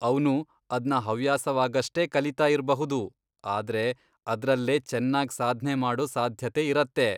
ಅವ್ನು ಅದ್ನ ಹವ್ಯಾಸವಾಗಷ್ಟೇ ಕಲೀತಾ ಇರ್ಬಹುದು, ಆದ್ರೆ ಅದ್ರಲ್ಲೇ ಚೆನ್ನಾಗ್ ಸಾಧ್ನೆ ಮಾಡೋ ಸಾಧ್ಯತೆ ಇರತ್ತೆ.